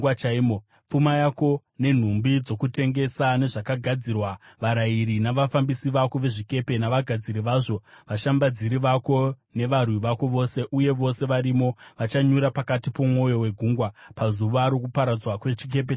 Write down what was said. Pfuma yako, nenhumbi dzokutengesa nezvakagadzirwa, varayiri navafambisi vako vezvikepe navagadziri vazvo, vashambadziri vako nevarwi vako vose, uye vose varimo vachanyura mukati momwoyo wegungwa, pazuva rokuparadzwa kwechikepe chako.